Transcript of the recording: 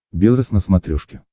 белрос на смотрешке